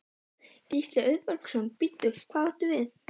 Gísli Auðbergsson: Bíddu, hvað áttu við?